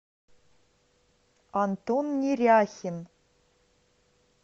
антон неряхин